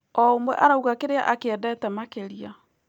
O ũmwe arauga kĩrĩa akĩendete makĩria.